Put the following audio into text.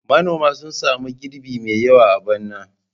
Manoman sun sami girbi mai yawa a bana.